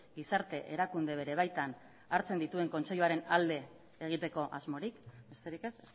gizarte erakunde bere baitan hartzen dituen kontseiluaren alde egiteko asmorik besterik ez